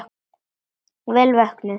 Vel vöknuð!